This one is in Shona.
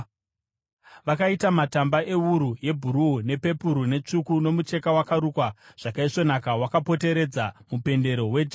Vakaita matamba ewuru yebhuruu, nepepuru netsvuku nomucheka wakarukwa zvakaisvonaka wakapoteredza mupendero wejasi.